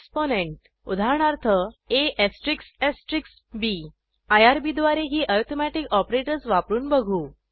exponent उदाहरणार्थ ab IRB द्वारे ही ऍरीथमेटिक ऑपरेटर्स वापरून बघू